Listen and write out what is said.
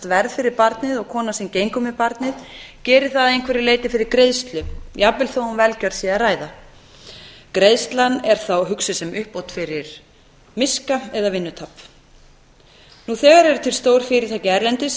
verð fyrir barnið og konan sem gengur með barnið gerir það að einhverju leyti fyrir greiðslu jafnvel þó um velgjörð sé að ræða nú þegar eru til stór fyrirtæki erlendis